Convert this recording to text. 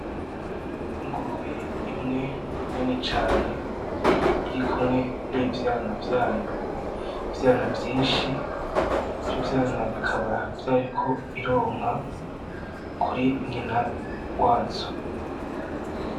ingurube imwe nini cane; irikumwe nivyana vyayo, ivyana vyinshi. lvyo vyana bikaba vyariko bironka kuri nyina wazo.